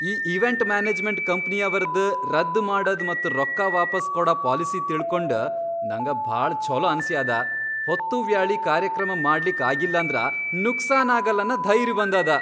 ಈ event management ಕಂಪ್ನಿಯವ್ರದ್ ರದ್ದ್ ಮಾಡದು ಮತ್ ರೊಕ್ಕಾ ವಾಪಾಸ್ ಕೊಡ ಪಾಲಿಸಿ ತಿಳ್ಕೊಂಡ್ ನಂಗ ಭಾಳ ಛೊಲೋ ಅನಸ್ಯಾದ, ಹೊತ್ತುವ್ಯಾಳಿ ಕಾರ್ಯಕ್ರಮ ಮಾಡ್ಲಿಕ್ ಆಗಿಲ್ಲಂದ್ರ ನುಕ್ಸಾನ್ ಆಗಲ್ಲನ್ನ ಧೈರ್ಯ್ ಬಂದದ.